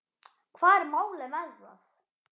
Hvað er málið með það?